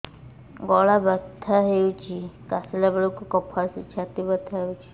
ଗଳା ବଥା ହେଊଛି କାଶିଲା ବେଳକୁ କଫ ଆସୁଛି ଛାତି ବଥା ହେଉଛି